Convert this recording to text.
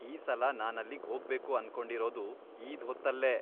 ಈ ಸಲ ನಾನಲ್ಲಿಗ್ ಹೋಗ್ಬೇಕು ಅನ್ಕೊಂಡಿರೋದು ಈದ್ ಹೊತ್ತಲ್ಲೇ.